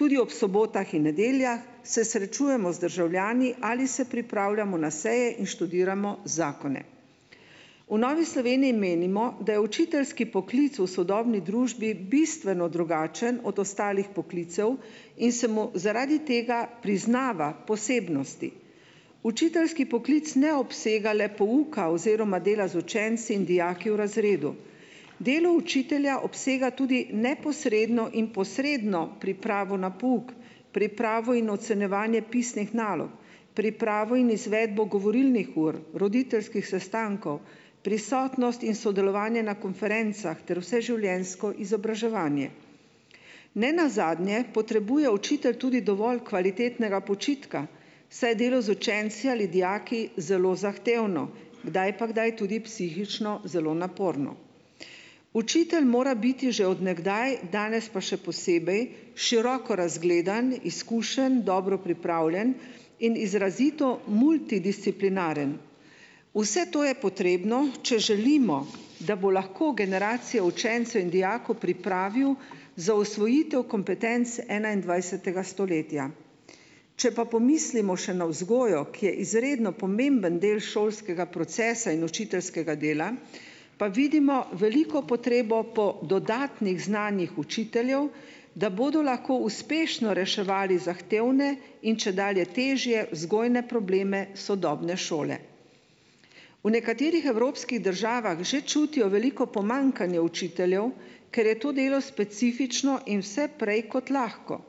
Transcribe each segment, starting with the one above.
tudi ob sobotah in nedeljah, se srečujemo z državljani ali se pripravljamo na seje in študiramo zakone. V Novi Sloveniji menimo, da je učiteljski poklic v sodobni družbi bistveno drugačen od ostalih poklicev in se mu zaradi tega priznava posebnosti. Učiteljski poklic ne obsega le pouka oziroma dela z učenci in dijaki v razredu. Delo učitelja obsega tudi neposredno in posredno pripravo na pouk. Pripravo in ocenjevanje pisnih nalog. Pripravo in izvedbo govorilnih ur, roditeljskih sestankov, prisotnost in sodelovanje na konferencah ter vseživljenjsko izobraževanje. Nenazadnje potrebuje učitelj tudi dovolj kvalitetnega počitka, saj je delo z učenci ali dijaki zelo zahtevno. Kdaj pa kdaj tudi psihično zelo naporno. Učitelj mora biti že od nekdaj, danes pa še posebej, široko razgledan, izkušen, dobro pripravljen in izrazito multidisciplinaren. Vse to je potrebno, če želimo, da bo lahko generacijo učencev in dijakov pripravil za usvojitev kompetenc enaindvajsetega stoletja. Če pa pomislimo še na vzgojo, ki je izredno pomemben del šolskega procesa in učiteljskega dela, pa vidimo veliko potrebo po dodatnih znanjih učiteljev, da bodo lahko uspešno reševali zahtevne in čedalje težje vzgojne probleme sodobne šole. V nekaterih evropskih državah že čutijo veliko pomanjkanje učiteljev, ker je to delo specifično in vse prej kot lahko.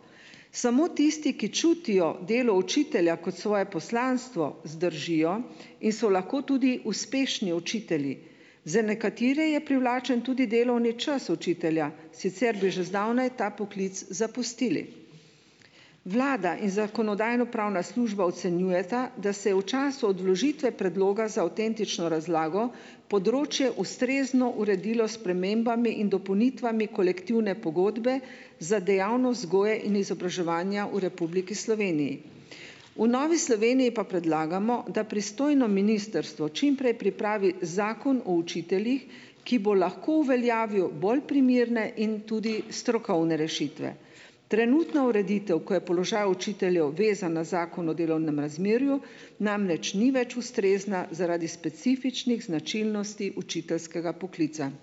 Samo tisti, ki čutijo delo učitelja kot svoje poslanstvo, zdržijo in so lahko tudi uspešni učitelji. Za nekatere je privlačen tudi delovni čas učitelja, sicer bi že zdavnaj ta poklic zapustili. Vlada in zakonodajno-pravna služba ocenjujeta, da se je v času od vložitve predloga za avtentično razlago področje ustrezno uredilo s spremembami in dopolnitvami Kolektivne pogodbe za dejavnost vzgoje in izobraževanja v Republiki Sloveniji. V Novi Sloveniji pa predlagamo, da pristojno ministrstvo čim prej pripravi Zakon o učiteljih, ki bo lahko uveljavil bolj primerne in tudi strokovne rešitve. Trenutna ureditev, ko je položaj učiteljev vezan na Zakon o delovnem razmerju, namreč ni več ustrezna zaradi specifičnih značilnosti učiteljskega poklica.